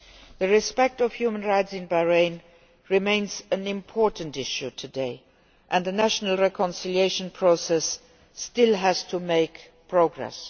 The respect of human rights in Bahrain remains an important issue today and a national reconciliation process still has to make progress.